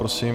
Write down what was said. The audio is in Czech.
Prosím.